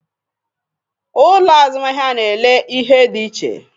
Ụlọ azụmahịa n'ele ihe dị iche